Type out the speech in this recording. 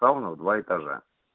всё равно два этажа